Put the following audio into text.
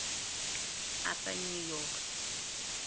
upper new york